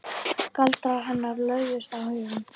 Galdrar hennar lögðust á hugann.